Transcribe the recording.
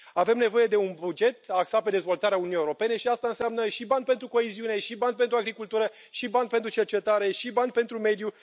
Avem nevoie de un buget axat pe dezvoltarea Uniunii Europene și asta înseamnă și bani pentru coeziune și bani pentru agricultură și bani pentru cercetare și bani pentru mediu.